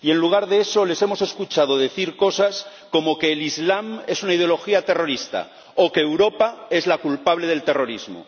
Y en lugar de eso, les hemos escuchado decir cosas como que el islam es una ideología terrorista o que Europa es la culpable del terrorismo.